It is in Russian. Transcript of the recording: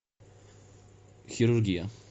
хирургия